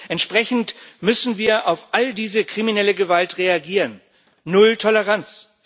Entsprechend müssen wir auf all diese kriminelle Gewalt reagieren null Toleranz.